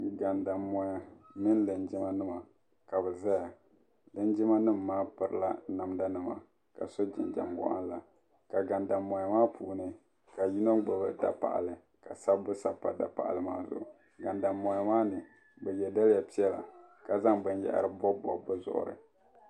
Gandanmoya mini linjimanim ka bi zaya linjimanim maa piri namdanima ka so jinjam wɔɣila ka gandanmoya maa puuni ka shɛbi gbubi dapaɣali ka sabbu sabi pa dapaɣala maa zuɣu gandanmoya maa ni bɛ ye daliya piɛla ka zaŋ bin yahari m bobi bobi bɛ zuɣuri.